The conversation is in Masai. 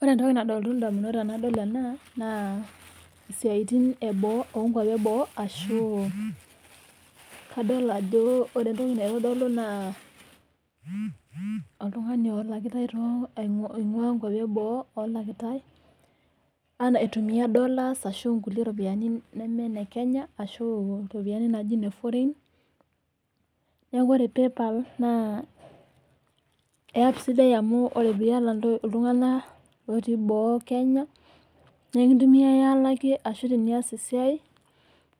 Ore entoki nalotu indamunot tenadol ena naa isiaitin eboo, oonkwapi eboo ashu kadol ajo ore entoki naitodolu naa oltung'ani olakitae too nkwapi e boo olakitae ena aitumia dollars ashu nkulie ropiyiani nemee ine Kenya ashu iropiyiani naaji ine foreign. Neeku ore PayPal naa app sidai amu ore piata iltung'anak otii boo e Kenya nekintumiai alakie ashu tenias e siai